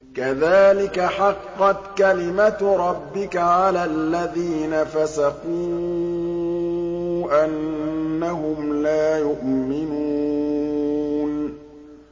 كَذَٰلِكَ حَقَّتْ كَلِمَتُ رَبِّكَ عَلَى الَّذِينَ فَسَقُوا أَنَّهُمْ لَا يُؤْمِنُونَ